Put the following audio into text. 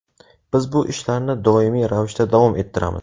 Biz bu ishlarni doimiy ravishda davom ettiramiz.